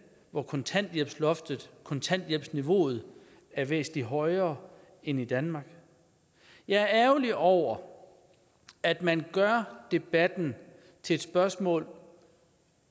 hvor kontanthjælpsniveauet kontanthjælpsniveauet er væsentlig højere end i danmark jeg er ærgerlig over at man gør debatten til et spørgsmål